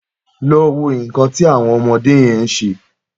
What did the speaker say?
Lọ wó nkàn ti awọn ọmọdé yèn ṣé